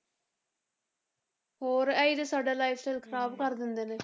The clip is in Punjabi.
ਹੋਰ ਇਹੀ ਤੇ ਸਾਡਾ lifestyle ਖ਼ਰਾਬ ਕਰ ਦਿੰਦੇ ਨੇ।